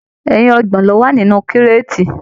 Ẹyin ọgbọ̀n lo wà nínú kireti.